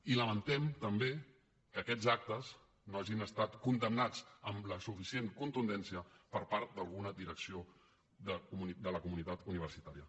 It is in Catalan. i lamentem també que aquests actes no hagin estat condemnats amb la suficient contundència per part d’alguna direcció de la comunitat universitària